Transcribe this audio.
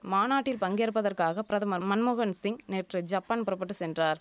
மாநாட்டில் பங்கேற்பதற்காக பிரதமர் மன்மோகன்சிங் நேற்று ஜப்பான் புறபட்டு சென்றார்